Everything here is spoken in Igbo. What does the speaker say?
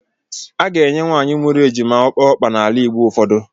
A ga-enye nwaanyị mụrụ ejima okpe ọkpa n’ala Igbo ụfọdụ